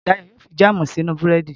Dayọ̀ yóò fi jáàmù si sínú búrẹ́dì